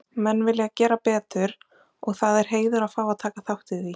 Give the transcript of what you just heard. Menn vilja gera betur og það er heiður að fá að taka þátt í því,